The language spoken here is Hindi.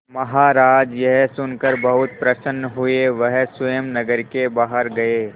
महाराज यह सुनकर बहुत प्रसन्न हुए वह स्वयं नगर के बाहर गए